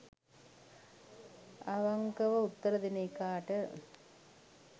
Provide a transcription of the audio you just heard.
අවංකව උත්තර දෙන එකාට